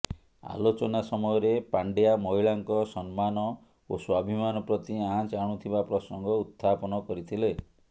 ଆଲୋଚନା ସମୟରେ ପାଣ୍ଡ୍ୟା ମହିଳାଙ୍କ ସମ୍ମାନ ଓ ସ୍ବାଭିମାନ ପ୍ରତି ଆଞ୍ଚ ଆଣୁଥିବା ପ୍ରସଙ୍ଗ ଉତ୍ଥାପନ କରିଥିଲେ